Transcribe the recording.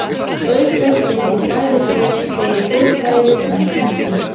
Auk þess fengu bæði lið fleiri góð færi sem ekki nýttust.